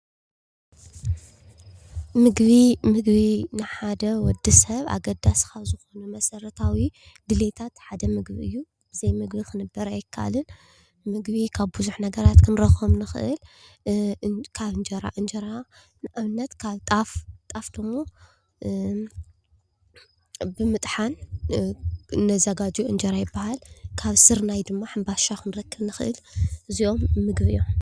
ምግቢ- ምግቢ ንሓደ ወዲ ሰብ ኣገዳሲ ካብ ዝኾኑ መሰረታዊ ድሌታት ሓደ ምግቢ እዩ፡፡ ብዘይምግቢ ክንበር ኣይከኣልን፡፡ ምግቢ ካብ ብዙሕ ነገራት ክንረኽቦም ንኽእል፡፡ ካብ እንጀራ፡እንጀራ ንኣብነት ካብ ጣፍ፡፡ ጣፍ ደሞ ብምጥሓን እነዘጋጅዎ እንጀራ ይበሃል፡፡ ካብ ስርናይ ድማ ሕንባሻ ክንረክብ ንኽእል፡፡ እዚኦም ምግቢ እዮም፡፡